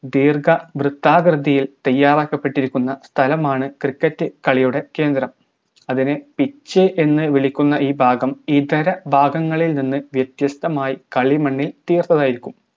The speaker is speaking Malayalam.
ദീർഘ വൃത്താകൃതിയിൽ തയ്യാറാക്കപ്പെട്ടിരിക്കുന്ന സ്ഥലമാണ് cricket കളിയുടെ കേന്ദ്രം അതിനെ pitch എന്ന് വിളിക്കുന്ന ഈ ഭാഗം ഇതര ഭാഗങ്ങളിൽ നിന്ന് വ്യത്യസ്തമായി കളിമണ്ണിൽ തീർത്തതായിരിക്കും